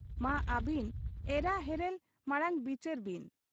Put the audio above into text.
ᱼᱼᱼᱢᱟ ᱟᱹᱵᱤᱱ ᱮᱨᱟ ᱦᱮᱨᱮᱞ ᱢᱟᱬᱟᱝ ᱵᱤᱪᱟᱹᱨᱵᱤᱱ ᱾